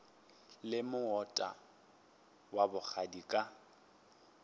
leme moota wa bogadi ka